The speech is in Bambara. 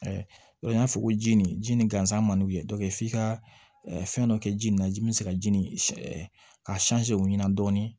n y'a fɔ ko ji nin ji nin gansan man d'u ye f'i ka fɛn dɔ kɛ ji nin na ji min bɛ se ka ji nin ka o ɲina dɔɔnin